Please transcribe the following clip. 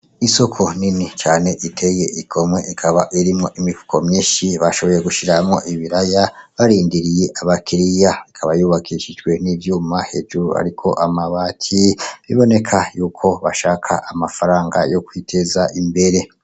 Isoko nini cane iteye igomwe ikaba irimwo imifuko myishi bashoboye gushira mwo ibiraya barindiriye abakiriya ikaba yubakishijwe n'ivyuma hejuru hariko amabati biboneka yuko bashaka amafaranga yo kwiteza imbere.